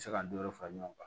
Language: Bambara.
Se ka n denw fara ɲɔgɔn kan